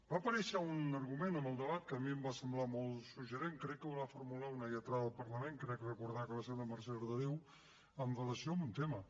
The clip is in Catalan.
va aparèixer un argument en el debat que a mi em va semblar molt suggeridor crec que el va formular una lletrada del parlament crec recordar que va ser la mercè arderiu amb relació a un tema